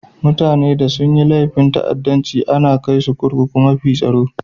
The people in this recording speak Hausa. Mutane da sun yi laifin ta'addancci ana kai su kurkukun mafi tsaro.